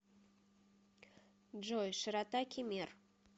джой широта кемер